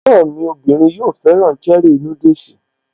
Ẹ̀gbọ́n mí bìnrin yóò fẹ́ràn cherie núdùsì